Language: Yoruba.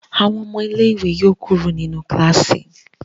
Àwọn ọmọ ilé ìwé yóò kúrò nínú kilasi.